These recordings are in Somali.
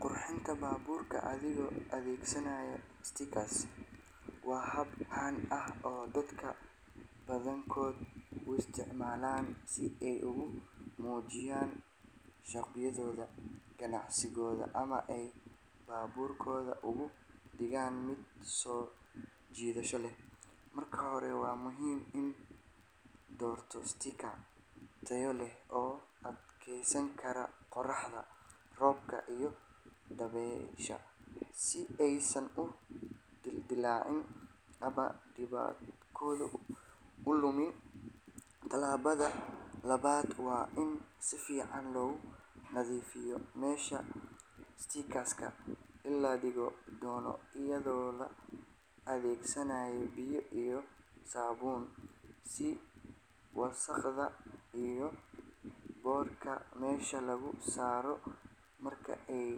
Qurxinta baabuurka adigoo adeegsanaya stickers waa hab caan ah oo dadka badankood u isticmaalaan si ay ugu muujiyaan shakhsiyadooda, ganacsigooda ama ay baabuurkooda uga dhigaan mid soo jiidasho leh. Marka hore, waa muhiim in la doorto stickers tayo leh oo u adkeysan kara qorraxda, roobka iyo dabaysha, si aysan u dildillaacin ama midabkoodu u lumin. Tallaabada labaad waa in si fiican loo nadiifiyo meesha sticker-ka la dhigi doono, iyadoo la adeegsanayo biyo iyo saabuun si wasakhda iyo boodhka meesha looga saaro. Marka ay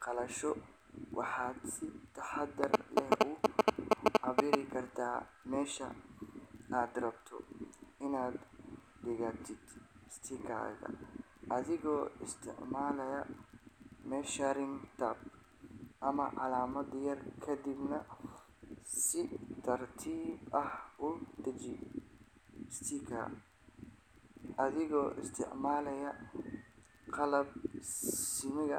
qalasho, waxaad si taxaddar leh u cabbiri kartaa meesha aad rabto inaad dhigtid sticker-ka, adigoo isticmaala measuring tape ama calaamad yar. Kadibna si tartiib ah u dheji sticker-ka, adigoo isticmaalaya qalab simaya.